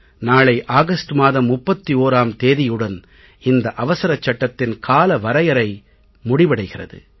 நாளை ஆகஸ்ட் மாதம் 31ம் தேதியுடன் இந்த அவசர சட்டத்தின் கால வரையறை முடிவடைகிறது